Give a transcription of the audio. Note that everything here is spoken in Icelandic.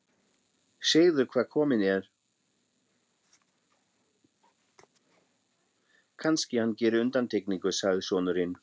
Segðu hver kominn er, kannski hann geri undantekningu, sagði sonurinn.